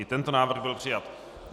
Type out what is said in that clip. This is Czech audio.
I tento návrh byl přijat.